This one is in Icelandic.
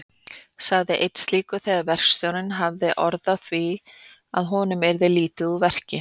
sagði einn slíkur þegar verkstjórinn hafði orð á því að honum yrði lítið úr verki.